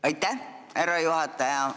Aitäh, härra juhataja!